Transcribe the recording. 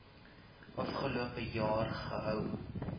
afgelope jaar gehou